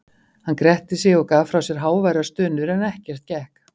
Hann gretti sig og gaf frá sér háværar stunur, en ekkert gekk.